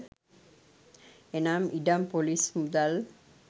එනම් ඉඩම් ‍පොලිස් මුදල්